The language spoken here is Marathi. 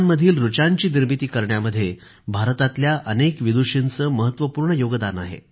वेदांमधील ऋचांची निर्मिती करण्यामध्ये भारतातल्या अनेक विदुषींचे महत्वपूर्ण योगदान आहे